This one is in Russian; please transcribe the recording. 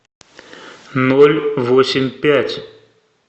ноль восемь пять